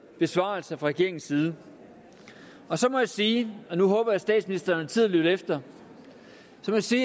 besvarelse fra regeringens side så må jeg sige og nu håber jeg at statsministeren sidder og lytter efter